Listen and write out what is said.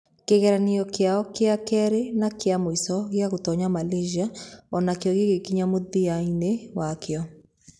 Kĩgeranio kĩao gĩa kerĩ na kĩa mũico gĩa gũtoonya Malaysia o nakĩo gĩgĩkinya mũthia-inĩ wakĩo.